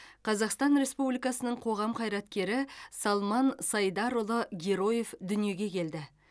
қазақстан республикасының қоғам қайраткері салман сайдарұлы героев дүниеге келді